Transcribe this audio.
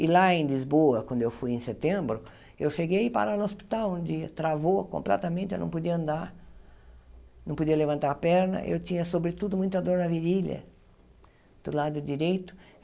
E lá em Lisboa, quando eu fui em setembro, eu cheguei e parar no hospital, onde travou completamente, eu não podia andar, não podia levantar a perna, eu tinha, sobretudo, muita dor na virilha, do lado direito.